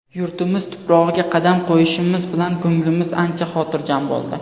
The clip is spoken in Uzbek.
Yurtimiz tuprog‘iga qadam qo‘yishimiz bilan ko‘nglimiz ancha xotirjam bo‘ldi.